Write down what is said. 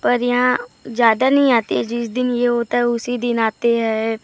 पर यहाँ ज्यादा नहीं आती जिस दिन यह होता हैं उसे दिन आते हैं।